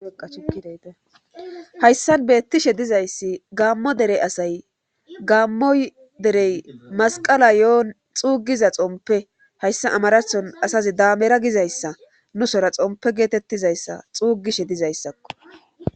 Qaciidaytehayssan beettishe dizayssi gaammo derey asay gaammo derey masqala yo'on xuugiza xompe hayssa amarathon asazi daamera gizayssa nu sora xompe geetettizayssa xuugishe dizayssakko.